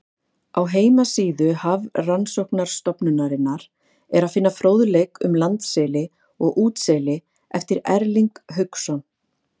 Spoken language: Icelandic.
Á heimasíðu Hafrannsóknastofnunarinnar er að finna fróðleik um landseli og útseli eftir Erling Hauksson.